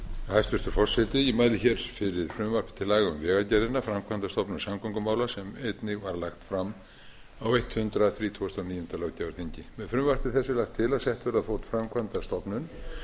hæstvirtur forseti ég mæli hér fyrir frumvarpi til laga um vegagerðina framkvæmdastofnun samgöngumála sem einnig var lagt fram á hundrað þrítugasta og níunda þingi með frumvarpi þessu er lagt til að sett verði á fót framkvæmdastofnun